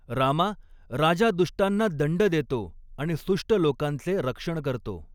रामा, राजा दुष्टांना दंड देतो, आणि सुष्ट लोकांचे रक्षण करतो.